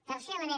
tercer element